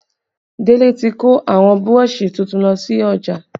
Délé tí kò àwọn Burọ̀ṣì tuntun lọ sí ọjà